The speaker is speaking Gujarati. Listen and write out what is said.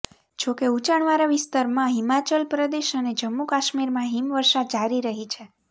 જા કે ઉચાણવાળા વિસ્તારમાં હિમાચલ પ્રદેશ અને જમ્મુ કાશ્મીરમાં હિમવર્ષા જારી રહી છે